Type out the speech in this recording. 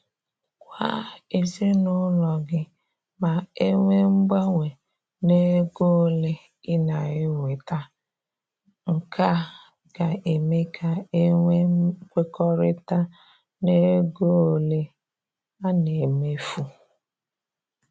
Gwa ezinaụlọ gị ma enwee mgbanwe na ego ole ị na-enweta, nke a ga-eme ka e nwee nkwekọrịta n'ego ole a na emefu.